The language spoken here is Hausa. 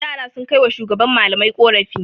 Yara sun kai wa shugaban malamai ƙorafi.